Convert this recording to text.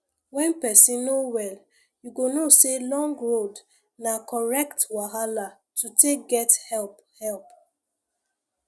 when person no well you go know say long road na correct wahala to take get help help